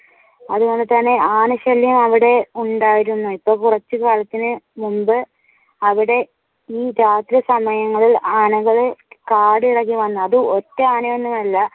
അതുപോലെ തന്നെ ആനശല്യം അവിടെ ഉണ്ടായിരുന്നു ഇപ്പൊ കുറച്ചു കാലത്തിനു മുൻപ് അവിടെ രാത്രി സമയങ്ങളിൽ ആനകൾ കാടിളകി വന്നു അത് ഒറ്റ ആനയും ഒന്നും അല്ല